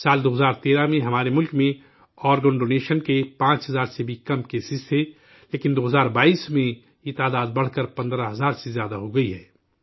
سال 2013 میں، ہمارے ملک میں، آرگن ڈونیشن کے 5 ہزار سے بھی کم معاملے تھے، لیکن 2022 میں، یہ تعداد بڑھ کر، 15 ہزار سے زیادہ ہو گئی ہے